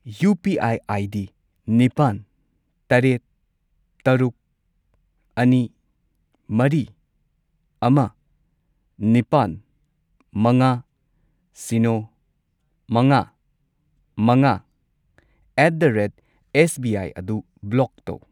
UPI. ID. ꯅꯤꯄꯥꯟ , ꯇꯔꯦꯠ, ꯇꯔꯨꯛ, ꯑꯅꯤ, ꯃꯔꯤ, ꯑꯃ, ꯅꯤꯄꯥꯜ, ꯃꯉꯥ, ꯁꯤꯅꯣ, ꯃꯉꯥ, ꯃꯉꯥ ꯑꯦꯠ ꯗ ꯔꯦꯠ ꯑꯦꯁꯕꯤꯑꯥꯢ ꯑꯗꯨ ꯕ꯭ꯂꯣꯛ ꯇꯧ꯫